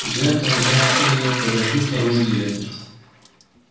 я тогда ээ подожду снаружи директор